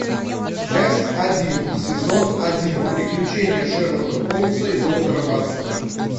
часть один сезон один приключения шерлока холмса и доктора ватсона